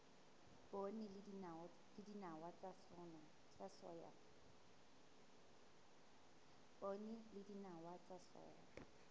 poone le dinawa tsa soya